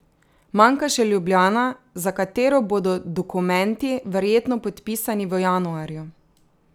Manjka še Ljubljana, za katero bodo dokumenti verjetno podpisani v januarju.